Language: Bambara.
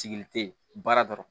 Sigili te baara dɔrɔn